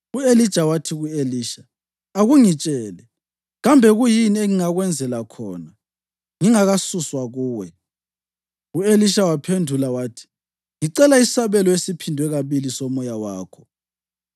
Ekuchapheni kwabo, u-Elija wathi ku-Elisha, “Akungitshele, kambe kuyini engingakwenzela khona ngingakasuswa kuwe?” U-Elisha waphendula wathi, “Ngicela isabelo esiphindwe kabili somoya wakho.”